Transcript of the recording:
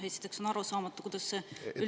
Esiteks on arusaamatu, kuidas see …